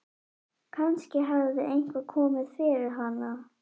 Kannski hafði eitthvað komið fyrir hana.